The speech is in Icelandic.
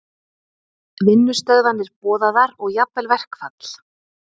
Vinnustöðvanir boðaðar og jafnvel verkfall